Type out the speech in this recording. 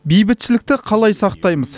бейбітшілікті қалай сақтаймыз